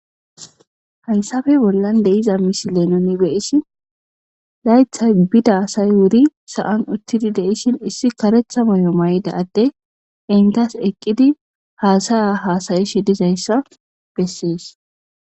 hayssafe bollan deiza misi leenoni beyissi laythay bida asay wuri sa7an uttidi deisshin issi karetha moy7o may7da atte intas eqqidi haasaya haasayishe dizayssa bessees